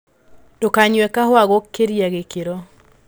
Ndũkanywe kahũa gũkĩria gĩkĩro